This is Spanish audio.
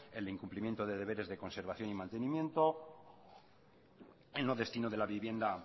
el incumplimiento de deberes de conservación y mantenimiento en lo destino de la vivienda